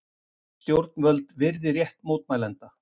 Stjórnvöld virði rétt mótmælenda